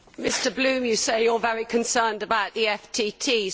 Mr Bloom, you say you are very concerned about the FTT.